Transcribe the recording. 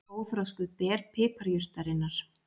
Óþroskuð ber piparjurtarinnar.